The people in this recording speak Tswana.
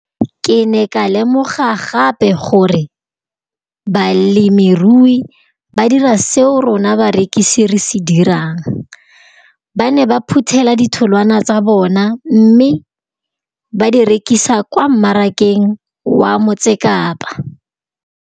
Ke ne ka lemoga gape gore balemirui ba dira seo rona barekisi re se dirang, ba ne ba phuthela ditholwana tsa bona mme ba di rekisa kwa marakeng wa Motsekapa.